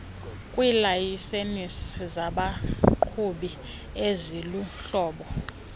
kwiilayisensi zabaqhubi eziluhlobo